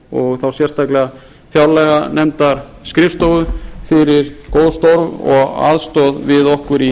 og þá sérstaklega fjárlaganefndarskrifstofu fyrir góð störf og að aðstoð við okkur í